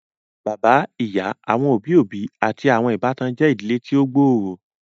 Bàbá, ìyá, àwọn òbí òbí àti àwọn ìbátan je ìdílé tí o gb'ọrọ.